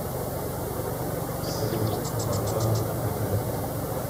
салют матранг мэтрэнг